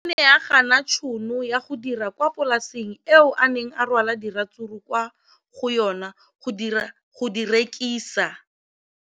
O ne a gana tšhono ya go dira kwa polaseng eo a neng rwala diratsuru kwa go yona go di rekisa.